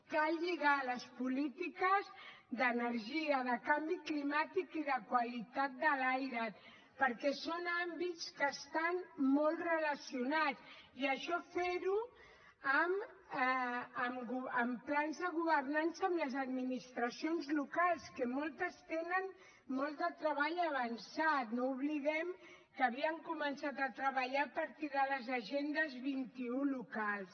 cal lligar les polítiques d’energia de canvi climàtic i de qualitat de l’aire perquè són àmbits que estan molt relacionats i això ferho amb plans de governança amb les administracions locals que moltes tenen molt de treball avançat no oblidem que havien començat a treballar a partir de les agendes vint un locals